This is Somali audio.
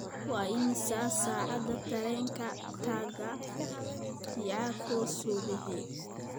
waa imisa saacada tareenka taga chicago subaxii